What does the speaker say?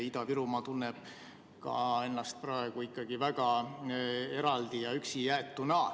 Ida-Virumaa tunneb ennast praegu ikka väga eraldi ja üksi jäetuna.